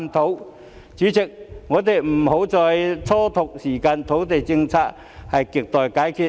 代理主席，我們不要再蹉跎時間，土地政策是亟待解決。